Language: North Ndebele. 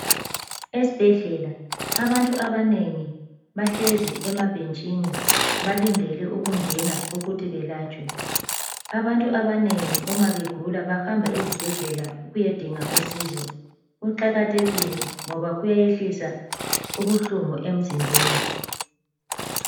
Esibhedlela abantu abanengi bahlezi emabhentshini balindele ukungena ukuthi belatshwe, abantu abanengi uma begula bahamba ezibhedlela ukuyadinga usizo, kuqakathekile ngoba kuyayehlisa ubuhlungu emzimbeni.